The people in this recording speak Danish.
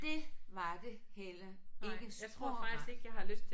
Det var det heller ikke spor rart